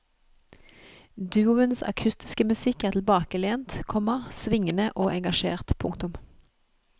Duoens akustiske musikk er tilbakelent, komma svingende og engasjert. punktum